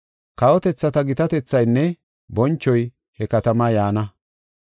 Kawotethata gitatethaynne bonchoy he katamaa yaana.